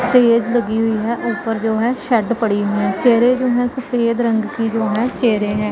चेयरे लगी हुई है ऊपर जो है शेड पड़ी है चेयरे जो है सफेद रंग की जो है चेयरे हैं।